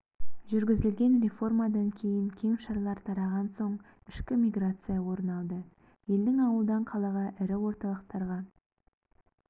жүргізілген реформадан кейін кеңшарлар тараған соң ішкі миграция орын алды елдің ауылдан қалаға ірі орталықтарға